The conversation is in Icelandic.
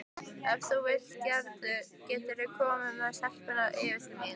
Ef þú vilt geturðu komið með stelpurnar yfir til mín.